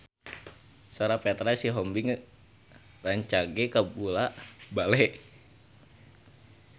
Sora Petra Sihombing rancage kabula-bale